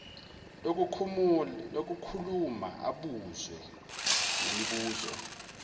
lokukhuluma abuze nemibuzo